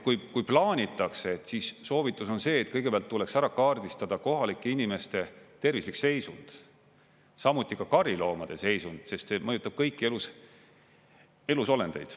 Kui plaanitakse, siis soovitus on see, et kõigepealt tuleks ära kaardistada kohalike inimeste tervislik seisund, samuti ka kariloomade seisund, sest see mõjutab kõiki elusolendeid.